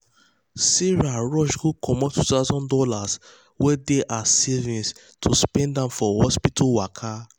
sarah rush go comot two thousand dollars go comot two thousand dollars wey um dey her savings to spend am for hospital waka.